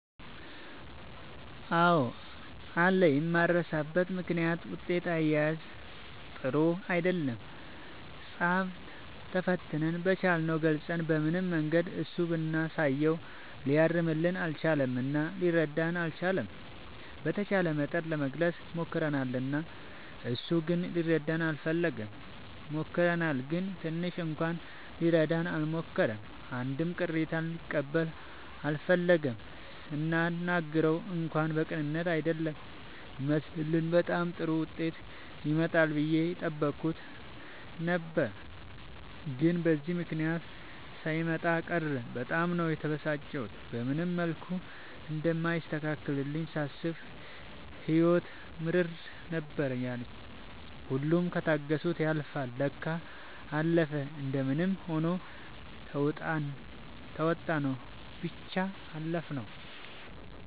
አዎ አለ የማይረሳበት ምክንያት ውጤት አያያዝ ጥሩ አይደለም ፃፍ ተፈትነን በቻልነው ገልፀን በምንም መንገድ እሱ ብናሳየውም ሊያርምልን አልቻለም እና ሊረዳንም አልቻለም። በተቻለ መጠን ለመግለፅ ሞክርናል እሱ ግን ሊረዳን አልፈለገም። ሞክረናል ግን ትንሽ እንኳን ሊረዳን አልሞከረም አንድም ቅሬታ ሊቀበል አልፈለገም ስናናግረው እንኳን በቅንነት አይደለም የሚመልስልን በጣም ጥሩ ዉጤት ይመጣል ብዬ የጠበኩት ነበር ግን በዚህ ምክንያት ሳይመጣ ቀረ በጣም ነው የተበሳጨሁት። በምንም መልኩ እንደማይስተካከልልኝ ሳስብ ህይወት ምርር ነበር ያለኝ ሁሉም ከታገሱት ያልፍል ለካ። አለፈ እንደምንም ሆኖ ተዉጣንው ብቻ አለፍነው።